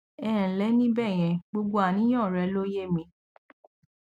ẹ ǹlẹ ní bẹyẹn gbogbo àníyàn rẹ ló yé mi